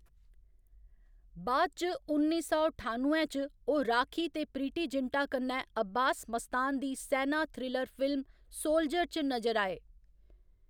बाद इच उन्नी सौ ठानुए च, ओह्‌‌ राखी ते प्रीति जिंटा कन्नै अब्बास मस्तान दी सैना थ्रिलर फिल्म सोल्जर च नजर आए।